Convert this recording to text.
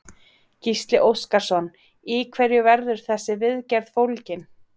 Gísli Óskarsson: Í hverju verður þessi viðgerð fólgin?